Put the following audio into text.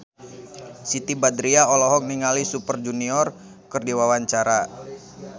Siti Badriah olohok ningali Super Junior keur diwawancara